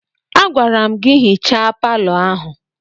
Agwara m gị hichaa palọ ahụ!